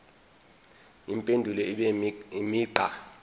impendulo ibe imigqa